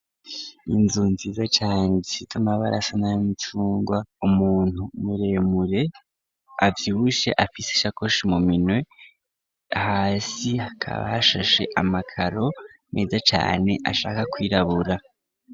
Inzu nziza cane zifite amabara asa nayumucungwa. Umuntu muremure abyibushe afise shakoshi mu minwe hasi akabashashe amakaro meza cane ashaka kwirabura.